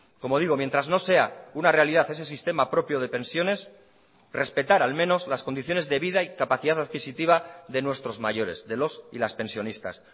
como digo mientras no sea una realidad ese sistema propio de pensiones respetar al menos las condiciones de vida y capacidad adquisitiva de nuestros mayores de los y las pensionistas